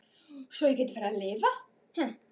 Svo ég gæti farið að lifa.